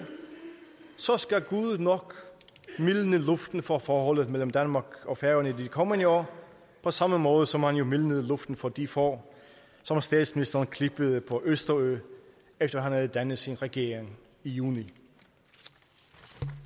så skal gud nok mildne luften for forholdet mellem danmark og færøerne i de kommende år på samme måde som han jo mildnede luften for de får som statsministeren klippede på østerø efter at han havde dannet sin regering i juni